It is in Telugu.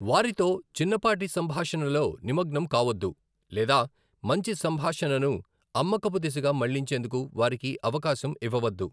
వారితో చిన్నపాటి సంభాషణలో నిమగ్నం కావొద్దు లేదా మంచి సంభాషణను అమ్మకపు దిశగా మళ్లించేందుకు వారికి అవకాశం ఇవ్వవద్దు.